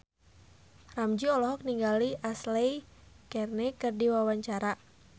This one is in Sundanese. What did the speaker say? Ramzy olohok ningali Ashley Greene keur diwawancara